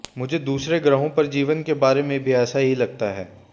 मुझे दूसरे ग्रहों पर जीवन के बारे में भी ऐसा ही लगता है